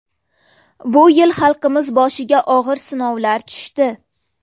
Bu yil xalqimiz boshiga og‘ir sinovlar tushdi.